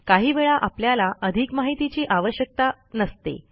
काही वेळा आपल्याला अधिक माहितीची आवश्यकता नसते